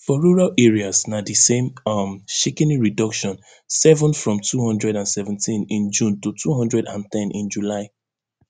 for rural areas na di same um shikini reduction seven from two hundred and seventeen in june to two hundred and ten in july